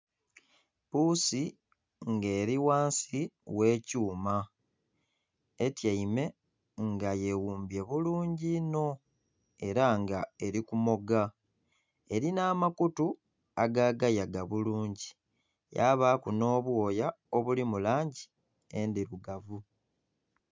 Puusi nga eri ghansi ghe kyuma etyaime nga yeghumbye bulungi inho era nga eri kumoga, erina amakutu agaagayaga bulungi yabaaku n'obwoya obuli mu langi endhirugavu.